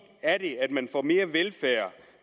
er det at man får mere velfærd